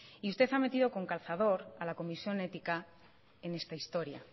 y usted ha metido con calzador a la comisión ética en esta historia